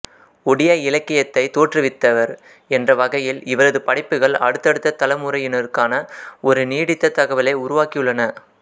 ஒடியா இலக்கியத்தைத் தோற்றுவித்தவர் என்ற வகையில் இவரது படைப்புகள் அடுத்தடுத்த தலைமுறையினருக்கான ஒரு நீடித்த தகவலை உருவாக்கியுள்ளன